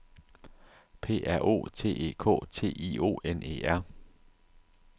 P R O T E K T I O N E R